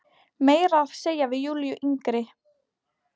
Meira að segja við Júlíu yngri.